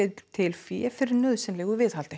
til fé fyrir nauðsynlegu viðhaldi